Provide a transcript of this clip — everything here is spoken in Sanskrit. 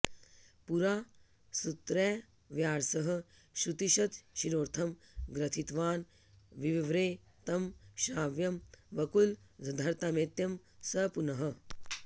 पुरा सूत्रैर्व्यासः श्रुतिशतशिरोर्थं ग्रथितवान् विवव्रे तं श्राव्यं वकुलधरतामेत्यं स पुनः